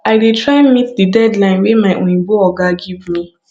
i dey try meet di deadline wey my oyimbo oga give me